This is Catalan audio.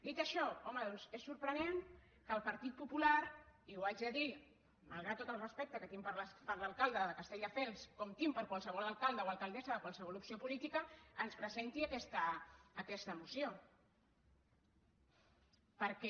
dit això home doncs és sorprenent que el partit popular i ho haig de dir malgrat tot el respecte que tinc per l’alcalde de castelldefels com tinc per qualsevol alcalde o alcaldessa de qualsevol opció política ens presenti aquesta moció perquè